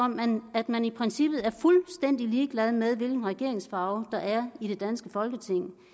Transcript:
at man i princippet er fuldstændig ligeglad med hvilken regeringsfarve der er i det danske folketing